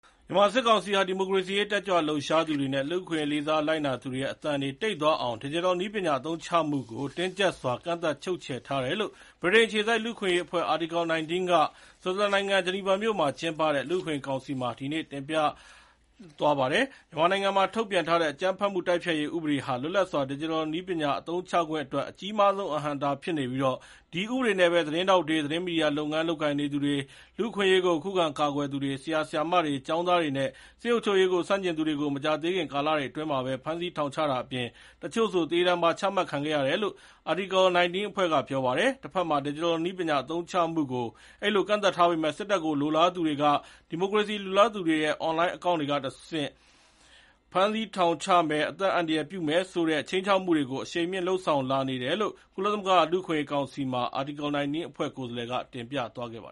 မြန်မာစစ်ကောင်စီဟာ ဒီမိုကရေစီအရေး တက်ကြွလှုပ်ရှားသူတွေနဲ့ လူ့အခွင့်အရေးကို လေးစားလိုက်နာသူတွေရဲ့အသံတွေ တိတ်သွားအောင် ဒီဂျစ်တယ်နည်းပညာအသုံးချမှုကို တင်းကြပ်စွာ ကန့်သတ် ချုပ်ခြယ်ထားတယ်လို့ဗြိတိန်အခြေစိုက် လူ့အခွင့်အရေးအဖွဲ့ Article 19 က ဆွစ်ဇာလန်နိင်ငံ ဂျနီဗာမြို့မှာ ကျင်းပတဲ့ လူ့အခွင့်အရေးကောင်စီမှာ ဒီနေ့(ဇူလိုင် ၆) တင်ပြထားသွားပါတယ်။ မြန်မာနိုင်ငံမှာ ထုတ်ပြန်ထားတဲ့ “အကြမ်းဖက်မှုတိုက်ဖျက်ရေးဥပဒေ” ဟာ လွတ်လပ်စွာ ဒီဂျစ်တယ်နည်းပညာ အသုံးချခွင့်အတွက် အကြီးမားဆုံး အဟန့်အတားဖြစ်နေပြီး ဒီဥပဒေနဲ့ပဲ သတင်းထောက်တွေ၊ သတင်းမီဒီယာလုပ်ငန်း လုပ်ကိုင်နေသူတွေ၊ လူ့အခွင့်အရေးကို ခုခံကာကွယ်သူတွေ၊ ဆရာဆရာမတွေ၊ ကျောင်းသားတွေနဲ့ စစ်အုပ်ချုပ်ရေးကို ဆန့်ကျင်သူတွေကို မကြာသေးခင် ကာလတွေအတွင်းမှာပဲ ဖမ်းဆီး၊ ထောင်ချတာအပြင် တချို့ဆို သေဒဏ်ပါ ချမှတ်ခံခဲ့ကြရတယ်လို့ Article 19 အဖွဲ့က ပြောပါတယ်။ တဘက်မှာ ဒီဂျစ်တယ်နည်းပညာ အသုံးချမှုကို အဲဒီလို ကန့်သတ်ထားပေမယ့် စစ်တပ်ကို လိုလားသူတွေက ဒီမိုကရေစီလိုလားသူတွေရဲ့ အွန်လိုင်းအကောင့်တွေကတဆင့် ဖမ်းဆီးထောင်ချမယ်၊ အသက်အန္တရာယ်ပြုမယ်ဆိုတဲ့ ခြိမ်းချောက်မှုတွေကို အရှိန်မြင့် လုပ်ဆောင်လာနေတယ်လို့ ကုလသမဂ္ဂလူ့အခွင့်ရေးကောင်စီမှာ Article 19 အဖွဲ့ကိုယ်စားလှယ်က တင်ပြသွားတာပါ